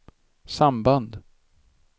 samband